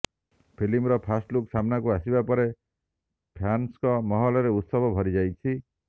ଫିଲ୍ମର ଫାଷ୍ଟଲୁକ୍ ସାମ୍ନାକୁ ଆସିବା ପରେ ଫ୍ୟାନ୍ସଙ୍କ ମହଲରେ ଉତ୍ସାହ ଭରି ଯାଇଛି